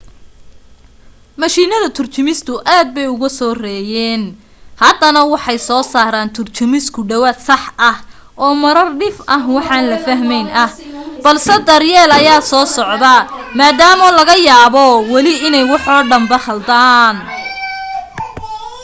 mishiinada turjumistu aad bay uga soo reeyeen haddana waxay soo saaraan turjumis ku dhawaad sax ah oo marar dhif ah waxaan la fahmayn ah balse daryeel ayaa soo socda maadaama laga yaabo weli inay waxoo dhanba khaldaan